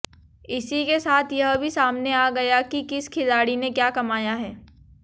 इसी के साथ यह भी सामने आ गया कि किस खिलाड़ी ने क्या कमाया है